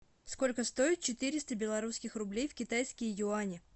сколько стоит четыреста белорусских рублей в китайские юани